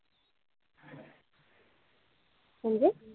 म्हणजे